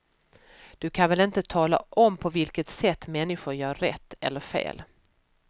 Du kan väl inte tala om på vilket sätt människor gör rätt eller fel.